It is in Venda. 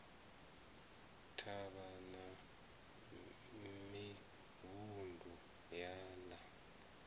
thavha na mivhundu ya ḽa